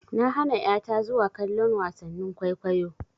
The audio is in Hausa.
Na hana ƴa ta zuwa kallon wasannin kwaikwayo.